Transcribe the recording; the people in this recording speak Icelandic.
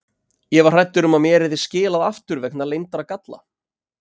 Ég var hræddur um að mér yrði skilað aftur vegna leyndra galla.